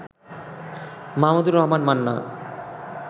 Mahmudur Rahman Manna